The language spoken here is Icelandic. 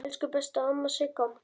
Elsku besta amma Sigga.